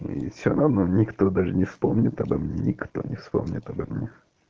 и все равно но никто даже не вспомнит обо мне никто не вспомнит обо мне